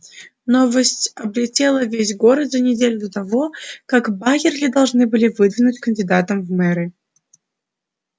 новость облетела весь город за неделю до того как байерли должны были выдвинуть кандидатом в мэры